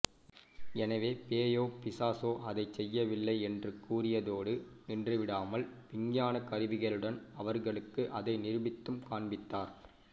எனவே பேயோ பிசாசோ அதைச் செய்யவில்லை என்று கூறியதோடு நின்றுவிடாமல் விஞ்ஞானக் கருவிகளுடன் அவர்களுக்கு அதை நிரூபித்தும் காண்பித்தார்